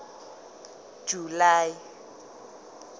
july